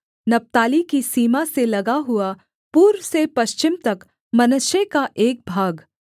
नप्ताली की सीमा से लगा हुआ पूर्व से पश्चिम तक मनश्शे का एक भाग